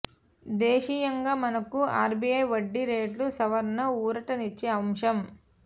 దేశీయంగా మనకు ఆర్బీఐ వడ్డీ రేట్ల సవరణ ఊరట నిచ్చే అంశం